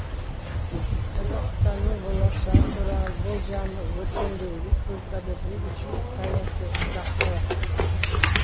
қазақстанның болашағы туралы болжамы өркендеу республикада бейбітшілік саяси тұрақтылық